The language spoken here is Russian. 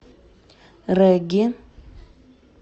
регги